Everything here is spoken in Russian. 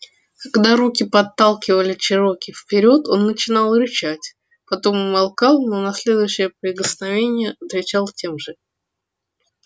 когда руки подталкивали чероки вперёд он начинал рычать потом умолкал но на следующее прикосновение отвечал тем же